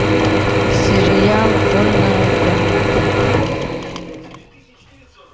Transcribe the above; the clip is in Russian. сериал вольная грамота